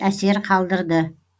әсер қалдырды